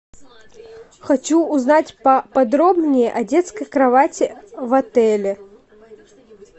хочу узнать по подробнее о детской кровати в отеле